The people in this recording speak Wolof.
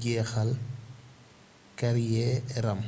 jeexal kariyeeram